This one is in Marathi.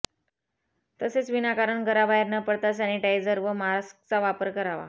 तसेच विनाकारण घराबाहेर न पडता सॅनिटाईझर व मास्कचा वापर करावे